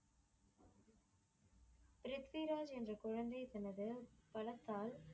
ப்ரித்விராஜ் என்ற குழந்தை தனது வளர்த்தால்